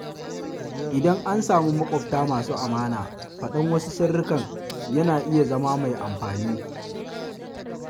Idan an samu maƙwabta masu amana, faɗan wasu sirrikan yana iya zama mai amfani.